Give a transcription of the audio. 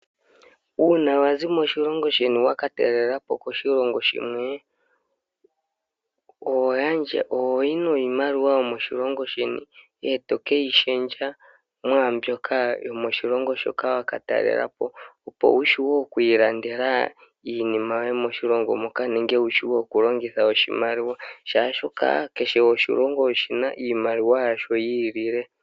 Uuna wazi moshilongo sheni wakatalela po koshilongo shimwe ohoyi niimaliwa yomoshilongo sheni ndele to ke yi lundululila mwaambyoka yokoshilongo hoka wakatalela po opo wu wape oku ilandela iinima yoye moshilongo moka nenge wu wape okulongitha oshimaliwa shaashi kehe oshilongo oshi na iimaliwa yasho yiilile.